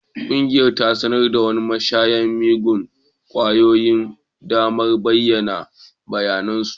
Ƙungiyar ta sanar wa mashayan miyagun kwayoyi damar bayyana bayanan su